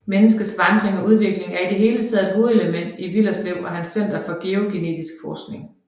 Menneskets vandring og udvikling er i det hele taget et hovedelement i Willerslev og hans Center for GeoGenetiks forskning